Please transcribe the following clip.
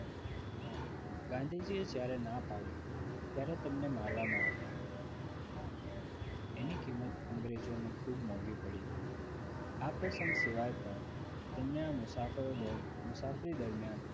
ગાંધીજીએ જ્યારે ના પાડી ત્યારે તેમને મારવામાં આવ્યા એની કિંમત અંગ્રેજોને ખૂબ મોંઘી પડી આ પ્રસંગ સિવાય પણ તેમની આ મુસાફરો મુસાફરી દરમિયાન